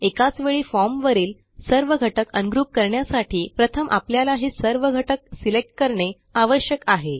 एकाच वेळी फॉर्म वरील सर्व घटक अनग्रुप करण्यासाठी प्रथम आपल्याला हे सर्व घटक सिलेक्ट करणे आवश्यक आहे